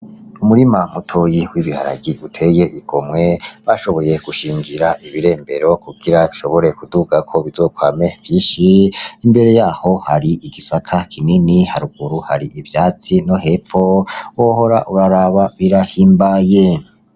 Umurima muto yiwe ibiharagi uteye igomwe bashoboye gushingira ibirembero kukira shobore kuduka ko bizokwame vyishi imbere yaho hari igisaka kinini haruguru hari ivyatsi no hepfo wohora uraraba birahimbaye.